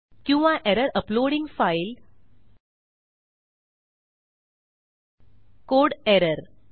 किंवा error uploading file code error